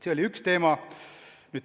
See oli üks teema.